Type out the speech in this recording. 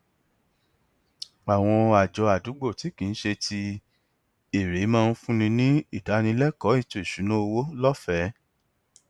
àwọn àjọ àdúgbò tí kì í ṣe ti èrè máa ń fúnni ní ìdánilẹkọọ ètò ìṣúnná owó lọfẹẹ